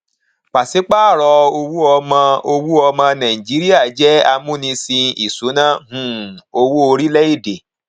pàṣípàrọ owó ọmọ owó ọmọ nàìjíríà jẹ amúnisìn ìṣúnná um owó orílẹèdè